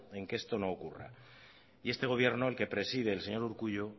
en que esto no ocurra y este gobierno el que preside el señor urkullu